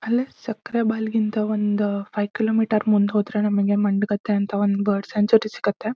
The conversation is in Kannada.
ಅಲ್ಲೇ ಸಕ್ಕೆರೆ ಬೈಲ್ ಗಿಂತ ಒಂದ್ ಅಹ್ ಫೈವ್ ಕಿಲೋ ಮೀಟರ್ ಮುಂದೆ ಹೋದ್ರೆ ನಮಗೆ ಮಂಡಗದ್ದೆ ಅಂತ ಬರ್ಡ್ ಸೆಂಚುರಿ ಸಿಗುತ್ತೆ.